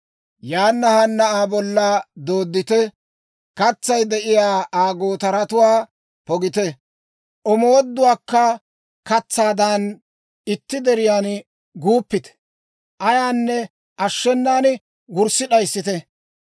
Yaana haana Aa bolla dooddite! Katsay de'iyaa Aa gootaratuwaa pogite; omooduwaakka katsaadan itti diiran guuppite! Ayaanne ashshenan wurssi d'ayissite!